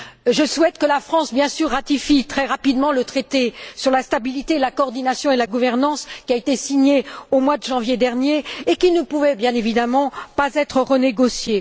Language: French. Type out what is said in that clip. Je souhaite que la France, bien sûr, ratifie très rapidement le traité sur la stabilité, la coordination et la gouvernance, qui a été signé au mois de janvier dernier et qui ne pouvait, bien évidemment, pas être renégocié.